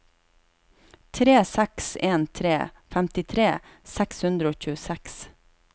tre seks en tre femtitre seks hundre og tjueseks